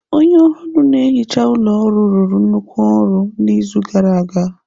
Onye ohuru na-ehicha ụlọ ọrụ rụrụ nnukwu ọrụ n'izu gara aga.